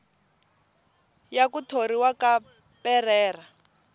ya ku thoriwa ka perreira